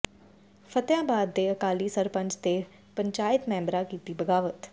ਫਤਿਆਂਬਾਦ ਦੇ ਅਕਾਲੀ ਸਰਪੰਚ ਦੇ ਪੰਚਾਇਤ ਮੈਂਬਰਾਂ ਕੀਤੀ ਬਗਾਵਤ